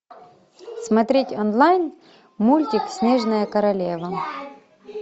смотреть онлайн мультик снежная королева